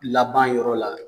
Laban yɔrɔ la